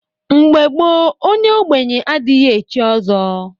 Mgbe gboo onye ogbenye adighi echi ọzọ.